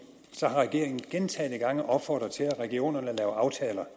har regeringen gentagne gange opfordret til at regionerne laver aftaler